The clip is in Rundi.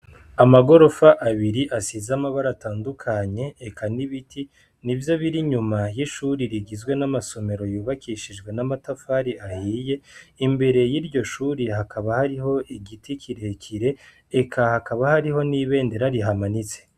Amagorofa abiri asize amabara atandukanye eka n'ibiti nivyo biri inyuma yishure rigizwe n'amasomero yubakishijwe n'amatafari ahiye imbere yiryo shure hakaba hariho igiti kirekire eka hakaba hariho n'ibendera rihamanitse.